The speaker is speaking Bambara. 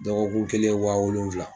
Dɔgɔkun kelen wa wolowula.